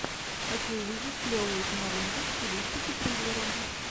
хочу увидеть клевую киноленту в стилистике триллера